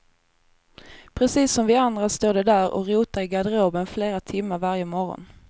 Precis som vi andra står de där och rotar i garderoben flera timmar varje morgon.